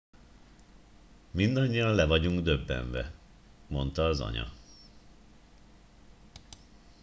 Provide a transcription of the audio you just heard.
mindannyian le vagyunk döbbenve - mondta az anya